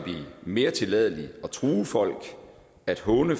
mere tilladeligt at true folk at håne